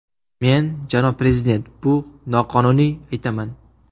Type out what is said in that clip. Men, janob prezident, bu noqonuniy, aytaman.